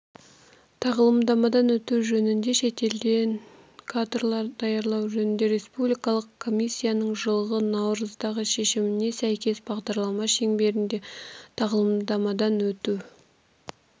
тағылымдамадан өту жөініде шетелде кадрлар даярлау жөніндегі республикалық комиссияның жылғы наурыздағы шешіміне сәйкесбағдарлама шеңберінде тағылымдамадан өту